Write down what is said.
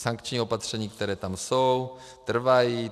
Sankční opatření, která tam jsou, trvají.